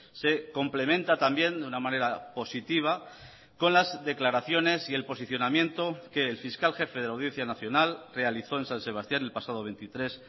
se complementa también de una manera positiva con las declaraciones y el posicionamiento que el fiscal jefe de la audiencia nacional realizó en san sebastián el pasado veintitrés